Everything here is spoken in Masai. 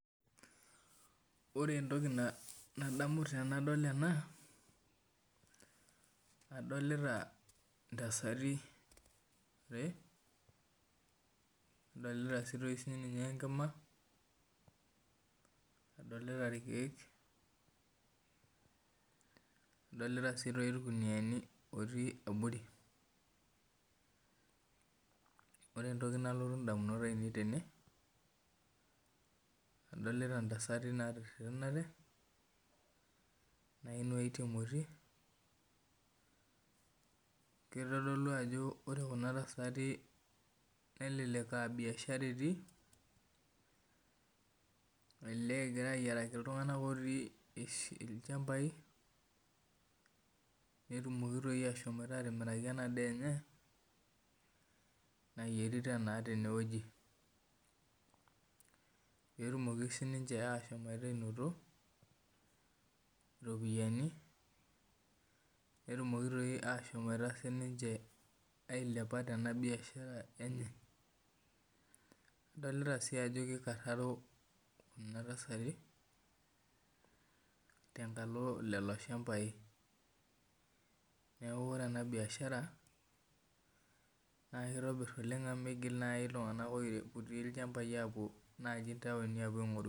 Ore entoki nadamu tanadol ena adolita ntasati are nadolta enkima nadolta irkiek nadolta si irkuniani otii abori ore Entoki nalotu ndamunot ainei na adolta ntasati natererenate nadolta emoti kitodolu ajo ore kuna tasati nelelek a biashara etii elelek egira ayiaraki ltunganak elek a biashara etii lchambai petumoki ashomoita atimiraki enadaa enye nayierita tenewueji petumokibsininche ashomoita anoto ropiyani netumoki sininche ashomoita ailepa tenabiashara enye adolta ajo kikararo nona tasati tenkalo kulo shambai neaku ore ena biashara na kitobir oleng amu migil ltunganak opuo ntauni aingoru.